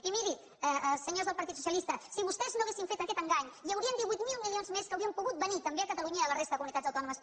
i mirin senyors del partit socialista si vostès no haguessin fet aquest engany hi haurien divuit mil milions més que haurien pogut venir també a catalunya i a la resta de comunitats autònomes